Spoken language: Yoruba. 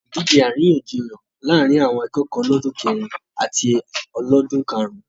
Ọ̀la ni ìdíje àríyànjiyàn láàrín àwọn akẹ́kọ̀ọ́ ọlọ́dún kẹrìn in àti ọlọ́dún karùn-ún